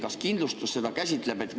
Kas kindlustus seda käsitleb?